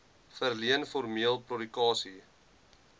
verleen formeel prokurasie